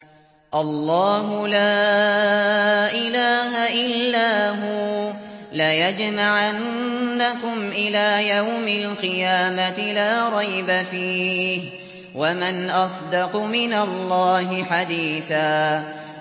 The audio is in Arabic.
اللَّهُ لَا إِلَٰهَ إِلَّا هُوَ ۚ لَيَجْمَعَنَّكُمْ إِلَىٰ يَوْمِ الْقِيَامَةِ لَا رَيْبَ فِيهِ ۗ وَمَنْ أَصْدَقُ مِنَ اللَّهِ حَدِيثًا